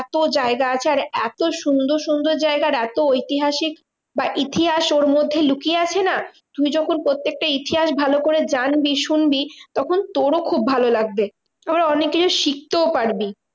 এত জায়গা আছে আর এত সুন্দর সুন্দর জায়গা আর এত ঐতিহাসিক বা ইতিহাস ওর মধ্যে লুকিয়ে আছে না? তুই যখন প্রত্যেকটা ইতিহাস ভালো করে জানবি শুনবি তখন তোরও খুব ভালো লাগবে। আবার অনেককিছু শিখতেও পারবি।